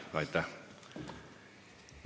Aga aitäh teile!